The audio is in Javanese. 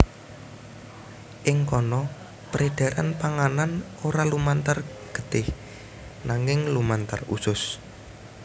Ing kono peredaran panganan ora lumantar getih nanging lumantar usus